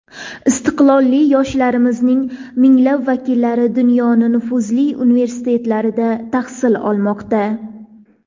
Iste’dodli yoshlarimizning minglab vakillari dunyoning nufuzli universitetlarida tahsil olmoqda.